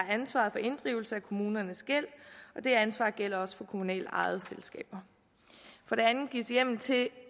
ansvaret for inddrivelse af kommunernes gæld og det ansvar gælder også for kommunalt ejede selskaber for det andet gives der hjemmel til